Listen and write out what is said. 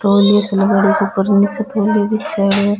तोलिये सो --